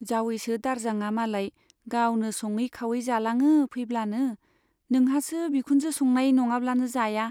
जावैसो दारजांआ मालाय गावनो सङै खावै जालाङो फैब्लानो, नोंहासो बिखुनजो संनाय नङाब्लानो जाया।